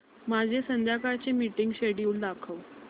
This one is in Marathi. माझे संध्याकाळ चे मीटिंग श्येड्यूल दाखव